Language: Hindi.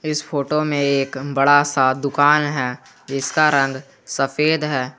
इस फोटो में एक बड़ा सा दुकान है इसका रंग सफेद है।